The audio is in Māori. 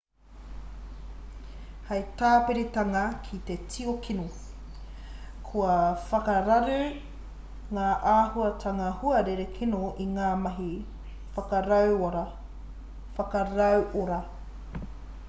hei tāpiritanga ki te tio kino kua whakararu ngā āhuatanga huarere kino i ngā mahi whakarauora